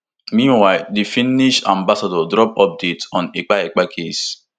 meanwhile di finnish ambassador drop update on ekpa ekpa case